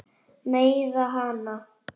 Meiða hana.